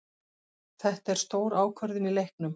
Þetta er stór ákvörðun í leiknum.